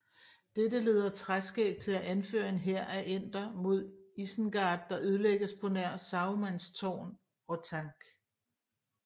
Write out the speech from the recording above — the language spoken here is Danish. Dette leder Træskæg til at anføre en hær af enter mod Isengard der ødelægges på nær Sarumans tårn Orthanc